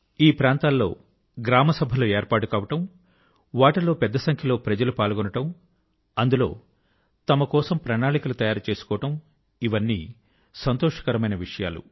ఈ ప్రాంతాల్లో గ్రామ సభలు ఏర్పాటు కావడం వాటి లో పెద్ద సంఖ్య లో ప్రజలు పాల్గొనడం అందులో తమ కోసం ప్రణాళికలు తయారు చేసుకోవడం ఇవన్నీ సంతోషకరమైన విషయాలు